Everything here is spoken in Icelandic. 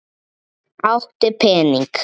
Áttu pening?